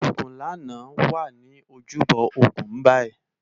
Ogunlana wá ni ójúbò ógún bàyi